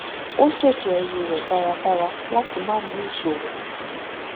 ó ṣètò ẹrù rẹ dáradára láti má ní ìṣòro